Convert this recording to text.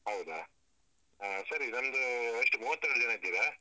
ಹೌದಾ, ಹ ಸರಿ ನಿಮ್ದು ಎಷ್ಟು ಮೂವತ್ತೆರಡು ಜನ ಇದ್ದೀರಾ?